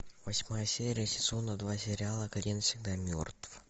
восьмая серия сезона два сериала клиент всегда мертв